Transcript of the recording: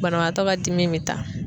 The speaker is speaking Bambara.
Banabaatɔ ka dimi be taa.